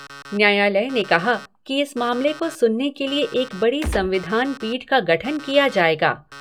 न्यायालय ने कहा है कि मामले को सुनने के लिए एक बड़ी संविधान पीठ का गठन किया जायेगा।